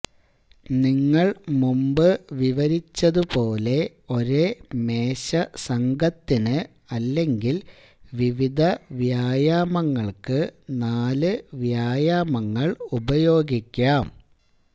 നിങ്ങൾ മുമ്പ് വിവരിച്ചതു പോലെ ഒരേ മേശ സംഘത്തിന് അല്ലെങ്കിൽ വിവിധ വ്യായാമങ്ങൾക്ക് നാല് വ്യായാമങ്ങൾ ഉപയോഗിക്കാം